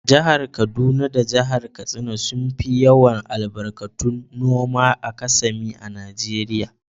Jihar kaduna da Jihar katsina sun fi yawar albarkatu noma a kasami a najeria.